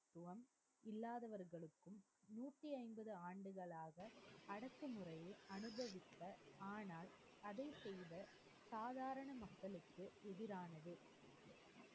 இல்லாதவர்களுக்கும் நூற்றி ஐம்பது ஆண்டுகளாக முறையை அனுபவித்த ஆனால் அதை செய்த சாதாரண மக்களுக்கு எதிரானது.